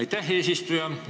Aitäh, eesistuja!